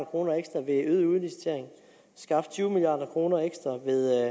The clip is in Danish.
kroner ekstra ved øget udlicitering og tyve milliard kroner ekstra ved